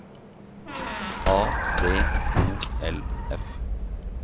A D O L F